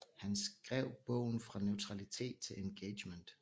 Han skrev bogen Fra neutralitet til engagement